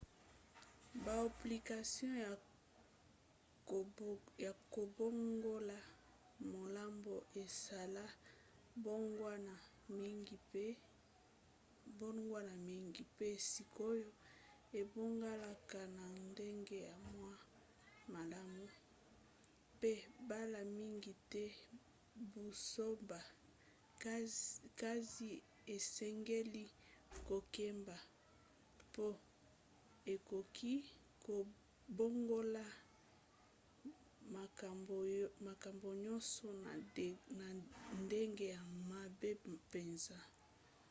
baapplication ya kobongola maloba esala mbongwana mingi pe sikoyo ebongalaka na ndenge ya mwa malamu pe mbala mingi te buzoba kasi esengeli kokeba po ekoki kobongola makambo nyonso na ndenge ya mabe mpenza